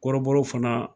Kɔrɔbɔrɔw fana